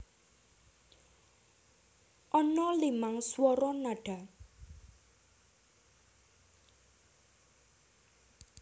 Ana limang swara nada